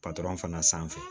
patɔrɔn fana sanfɛ